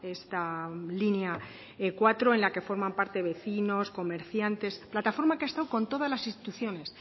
esta línea cuatro en la que forman parte vecinos comerciantes plataforma que ha estado con todas las instituciones